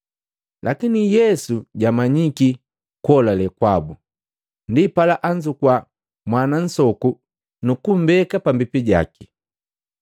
Lakini Yesu jamanyiki kuholale kwabu, ndipala anzukua mwana nsoku nukumbeka pambipi jaki,